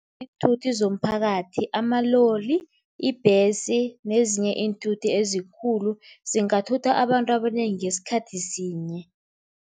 Iinthuthi zomphakathi amaloli, ibhesi nezinye iinthuthi ezikhulu, zingathutha abantu abanengi ngesikhathi sinye.